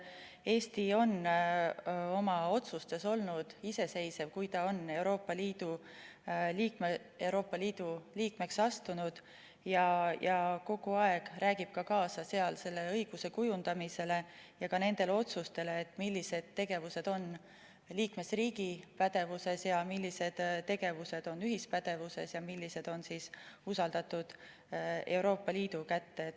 Eesti on oma otsustes olnud iseseisev, kui ta on Euroopa Liidu liikmeks astunud, ja kogu aeg räägib kaasa selle õiguse kujundamises ja ka nendes otsustes, millised tegevused on liikmesriigi pädevuses, millised tegevused on ühispädevuses ja millised on usaldatud Euroopa Liidu kätte.